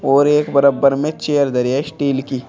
और एक में चेयर है स्टील की।